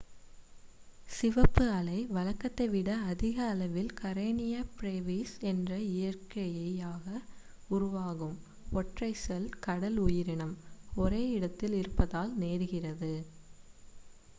சிவப்பு அலை வழக்கத்தை விட அதிக அளவில் கரெனியா ப்ரேவிஸ் என்ற இயற்கையாக உருவாகும் ஒற்றைச் செல் கடல் உயிரினம் ஒரே இடத்தில் இருப்பதால் நேர்கிறது